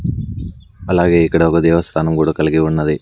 అలాగే ఇక్కడ ఒక దేవస్థానం కూడా కలిగి ఉన్నది.